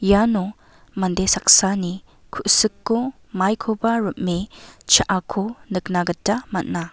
iano mande saksani ku·siko maikoba rim·e cha·ako nikna gita man·a.